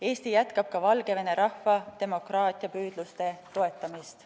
Eesti jätkab ka Valgevene rahva demokraatiapüüdluste toetamist.